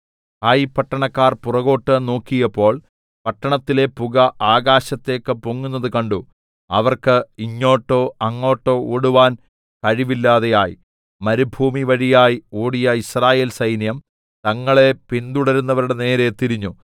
ഹായി പട്ടണക്കാർ പുറകോട്ട് നോക്കിയപ്പോൾ പട്ടണത്തിലെ പുക ആകാശത്തേക്ക് പൊങ്ങുന്നത് കണ്ടു അവർക്ക് ഇങ്ങോട്ടോ അങ്ങോട്ടോ ഓടുവാൻ കഴിവില്ലാതെയായി മരുഭൂമിവഴിയായി ഓടിയ യിസ്രായേൽ സൈന്യം തങ്ങളെ പിന്തുടരുന്നവരുടെ നേരെ തിരിഞ്ഞു